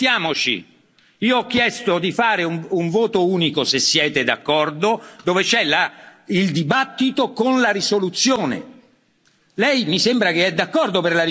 No, mi scusi, però ascoltiamoci. Io ho chiesto di fare un voto unico, se siete d'accordo, dove c'è il dibattito con la risoluzione.